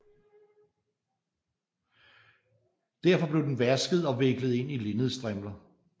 Derefter blev den vasket og viklet ind i linnedstrimler